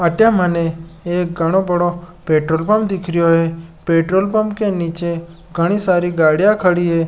अटे मने एक घाना बडो पेट्रोल पंप दिख रहा है पेट्रोल पंप के नीचे घनी सारी गाड़ियां खड़ी है।